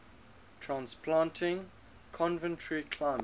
transplanting coventry climax